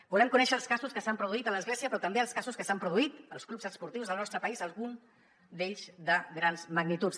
volem conèixer els casos que s’han produït a l’església però també els casos que s’han produït als clubs esportius del nostre país algun d’ells de grans magnituds